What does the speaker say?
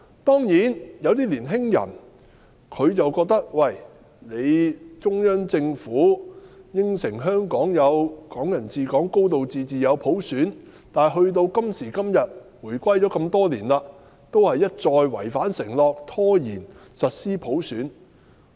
當然，有些年輕人覺得，中央政府承諾香港可以"港人治港"、有"高度自治"、有普選，但時至今日，回歸多年，中央政府一再違反承諾，拖延實施普選。